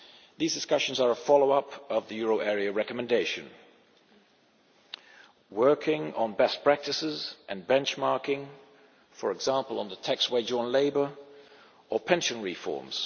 These discussions are a follow up to the euro area recommendation, working on best practices and benchmarking, for example on the tax wedge on labour, or pension reforms.